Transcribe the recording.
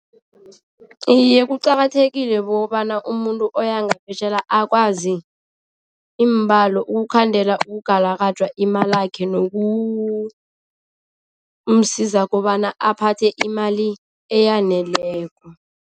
Iye, kuqakathekile bokobana umuntu oya ngaphetjheya akwazi iimbalo, ukukhandela ukugalakajwa imalakhe nokumsiza kobana aphathe imali eyaneleko.